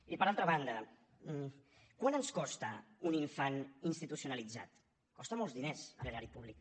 i per altra banda quant ens costa un infant institucionalitzat costa molts diners a l’erari públic